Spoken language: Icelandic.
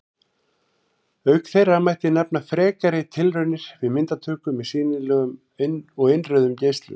Auk þeirra mætti nefna frekari tilraunir við myndatöku með sýnilegum og innrauðum geislum.